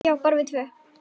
Já, bara við tvö.